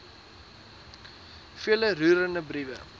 vele roerende briewe